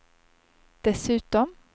dessutom